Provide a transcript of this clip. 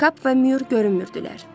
Kap və Mür görünmürdülər.